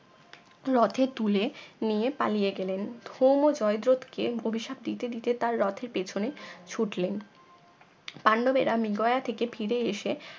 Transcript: রথে তুলে নিয়ে পালিয়ে গেলেন ধুম ও জয়দ্রত কে অভিশাপ দিতে দিতে তার রথের পেছনে ছুটলেন পান্ডবেরা মৃগয়া থেকে ফিরে এসে